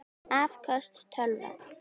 Afköst tölva